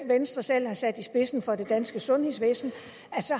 venstre selv har sat i spidsen for det danske sundhedsvæsen